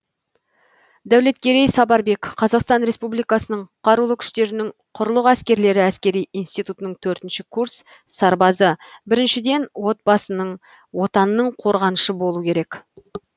дәулеткерей сапарбек қазақстан республикасының қарулы күштерінің құрлық әскерлері әскери институтының төртінші курс сарбазы біріншіден отбасының отанның қорғанышы болу керек